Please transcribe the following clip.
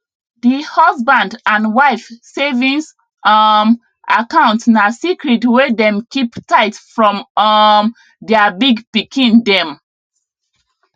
d husband and wife savings um account na secret wey dem keep tight from um their big pikin dem